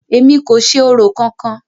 Èmi kò ṣe orò kankan!